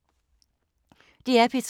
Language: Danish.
DR P3